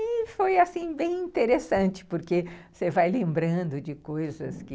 E foi, assim, bem interessante, porque você vai lembrando de coisas que...